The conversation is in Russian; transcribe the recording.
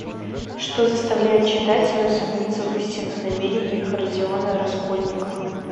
что заставляет читателя усомниться в истинных намерениях родиона раскольникова